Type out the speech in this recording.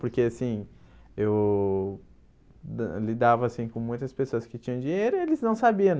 Porque, assim, eu lidava, assim, com muitas pessoas que tinham dinheiro e eles não sabiam.